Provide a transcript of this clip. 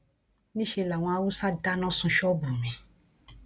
níṣẹ làwọn haúsá dáná sun ṣọọbù mi